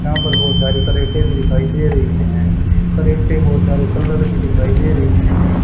यहां पर बहोत सारी करेटे भी दिखाई दे रही है। करेटे बहोत सारे कलर की दिखाई दे रही है।